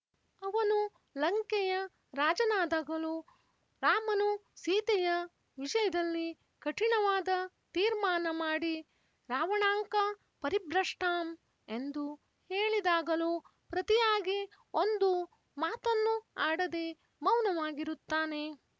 ಅವನು ಲಂಕೆಯ ರಾಜನಾದಗಲೂ ರಾಮನು ಸೀತೆಯ ವಿಷಯದಲ್ಲಿ ಕಠಿಣವಾದ ತೀರ್ಮಾನ ಮಾಡಿ ರಾವಣಾಂಕ ಪರಿಭ್ರಷ್ಟಾಂ ಎಂದು ಹೇಳಿದಾಗಲೂ ಪ್ರತಿಯಾಗಿ ಒಂದು ಮಾತನ್ನೂ ಆಡದೆ ಮೌನವಾಗಿರುತ್ತಾನೆ